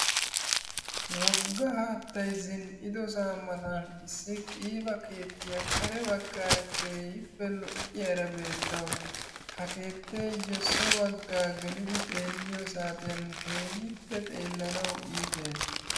Woga haattay zin'idosaa matan issi qiibba keettiya kare bagaaara keehipope lo'iyara beettawusu ha keetteeyo so bagaa geliddi xeeliyo saatiyan keehippe xeelawu iiitees.